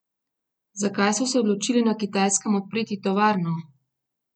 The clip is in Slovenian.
Zakaj so se odločili na Kitajskem odpreti tovarno?